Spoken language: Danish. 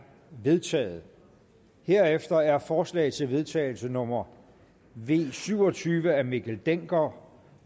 vedtaget herefter er forslag til vedtagelse nummer v syv og tyve af mikkel dencker